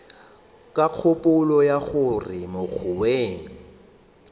ka kgopolo ya gore mogongwe